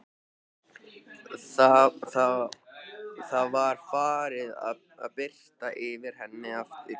Það var farið að birta yfir henni aftur.